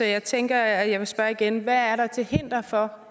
jeg tænker at jeg vil spørge igen hvad er der til hinder for